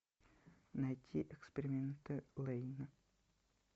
найти эксперименты лэйна